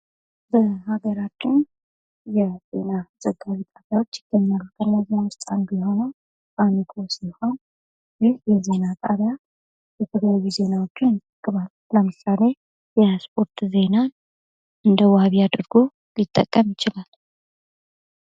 በአገራችን የዜና ዘጋቢ ይገኛሉ። ከእነዚያ ዉስጥ አንዱ የሆነዉ ሲሆን ይህ የዜና ጣቢያ የተለያዩ ዜናዎችን ለምሳሌ የስፖርት ዜና እንደ ዋቢ አድርጎ ሊጠቀም ይችላል።